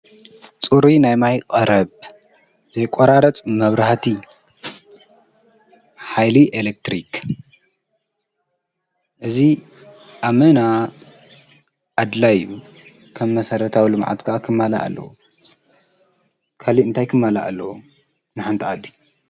ጽርይ ናይማይ ቐረብ ፣ዘይቈራረጽ መብራህቲ ኃይሊ ፣ኤሌክትሪክ እዙ ኣመና ኣድላይብ ከም መሠረታውሉ መዓጥቃዓ ኽማላ ኣለዉ ካሊእ እንታይ ክማላ ኣለዉ ንሓንተኣዲ።